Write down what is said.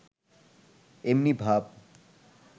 এমনি ভাব